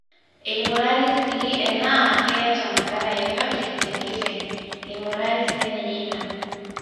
eing'urari sii enaa keeta madhara yeyote tenkiteng, eing'urari sininye ina